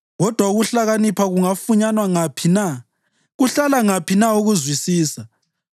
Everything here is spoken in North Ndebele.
Kodwa ukuhlakanipha kungafunyanwa ngaphi na? Kuhlala ngaphi na ukuzwisisa?